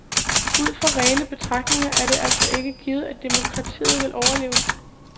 Ud fra rene disse betragtninger er det altså ikke givet, at demokratiet vil overleve.